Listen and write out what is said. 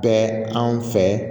Bɛɛ anw fɛ